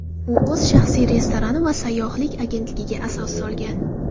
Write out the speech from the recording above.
U o‘z shaxsiy restorani va sayyohlik agentligiga asos solgan.